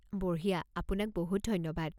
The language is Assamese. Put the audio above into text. বঢ়িয়া! আপোনাক বহুত ধন্যবাদ।